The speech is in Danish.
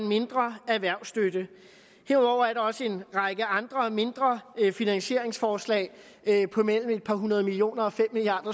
mindre erhvervsstøtte herudover er der også en række andre og mindre finansieringsforslag på mellem et par hundrede millioner og fem milliard